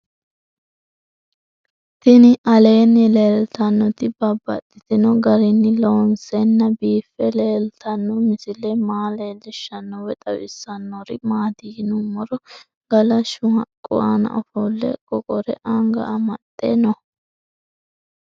Tinni aleenni leelittannotti babaxxittinno garinni loonseenna biiffe leelittanno misile maa leelishshanno woy xawisannori maattiya yinummoro galashshu haqqu aanna offole qoqore anga amaxxe noo